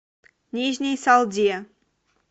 нижней салде